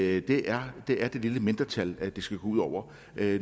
at det er det er det lille mindretal det skal gå ud over